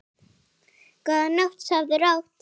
Góða nótt, sofðu rótt.